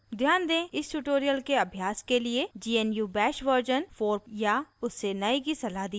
ध्यान दें इस tutorial के अभ्यास के लिए gnu bash version 4 या उससे नए की सलाह दी जाती है